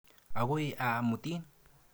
Akoi aa mutin.